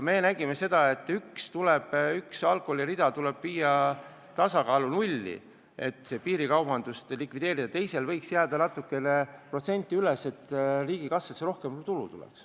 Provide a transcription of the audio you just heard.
Me jõudsime seisukohale, et üht liiki alkoholi müük tuleb viia tasakaalu ja jõuda nulli, et piirikaubandus likvideerida, teisel liigil võiks jääda aktsiis natukene kõrgemaks, et riigikassasse rohkem tulu tuleks.